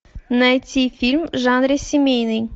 найти фильм в жанре семейный